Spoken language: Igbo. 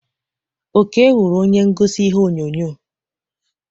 Oke wụrụ onye ngosi ihe onyonyo.